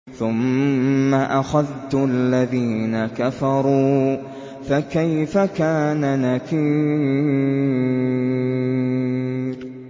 ثُمَّ أَخَذْتُ الَّذِينَ كَفَرُوا ۖ فَكَيْفَ كَانَ نَكِيرِ